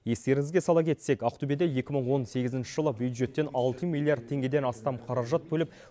естеріңізге сала кетсек ақтөбеде екі мың он сегізінші жылы бюджеттен алты миллиард теңгеден астам қаражат бөліп